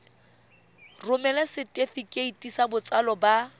romela setefikeiti sa botsalo sa